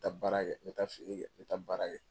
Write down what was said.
N bɛ taa baara kɛ n bɛ taa feer kɛ n bɛ taa baara kɛ.